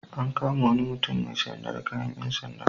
An kama wani mutum sanye da kayan ƴan sanda.